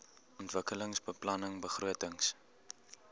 ontwikkelingsbeplanningbegrotings